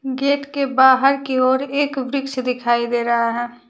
Gate के बाहर की ओर एक वृक्ष दिखाई दे रहा है।